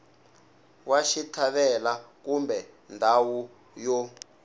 wa xitlhavelo kumbe ndhawu yo